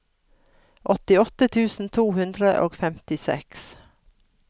åttiåtte tusen to hundre og femtiseks